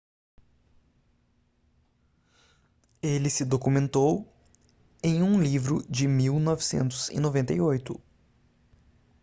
ele se documentou em um livro de 1998